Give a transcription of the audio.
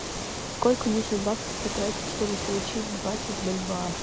сколько нужно баксов потратить чтобы получить двадцать бальбоа